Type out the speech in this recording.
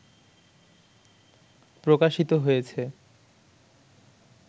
প্রকাশিত হয়েছে